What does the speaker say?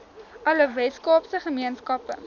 alle weskaapse gemeenskappe